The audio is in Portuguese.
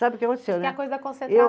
Sabe o que aconteceu, né? Coisa da